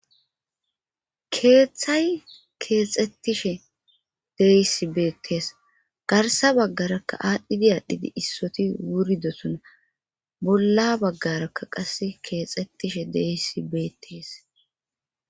Keeththay keexxettishe deyisi beettees garsa baggarakka aadhdhidi aadhdhidi issoti wuridosoona bolla baggarakka qas keexettishe deysi beettees